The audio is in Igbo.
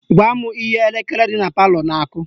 Gwa m ihe elekere dị na palọ na-akụ